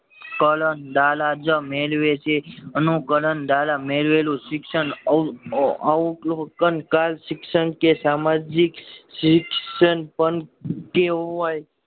કલ અંદાજ મેળવે છે અનુકરણ દ્વારા મેળવેલું શિક્ષણ અવલોકન કલ શિક્ષણ કે સમજીક શિક્ષણ પણ કેવાય